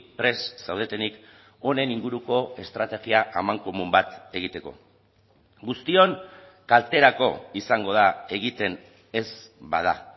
prest zaudetenik honen inguruko estrategia amankomun bat egiteko guztion kalterako izango da egiten ez bada